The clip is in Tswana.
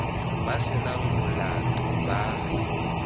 ba se nang molato ba